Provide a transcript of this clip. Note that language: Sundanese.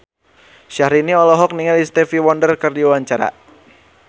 Syahrini olohok ningali Stevie Wonder keur diwawancara